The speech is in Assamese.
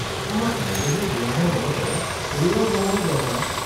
আমাক মগজুৰ ব্যায়ামৰ লগতে শৰীৰৰ ব্যায়ামৰো দৰকাৰ।